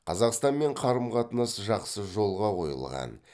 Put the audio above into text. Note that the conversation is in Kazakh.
қазақстанмен қарым қатынас жақсы жолға қойылған